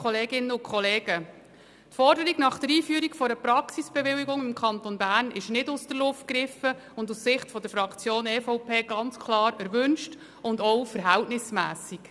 Die Forderung nach der Einführung einer Praxisbewilligung im Kanton Bern ist nicht aus der Luft gegriffen, sie ist aus Sicht der Fraktion EVP ganz klar erwünscht und auch verhältnismässig.